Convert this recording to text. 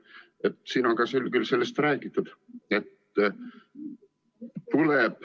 Sellest on siin küll ka räägitud.